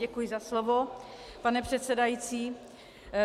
Děkuji za slovo, pane předsedající.